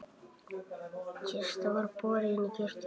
Kista var borin í kirkju.